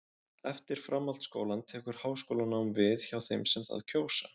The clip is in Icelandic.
Eftir framhaldsskólann tekur háskólanám við hjá þeim sem það kjósa.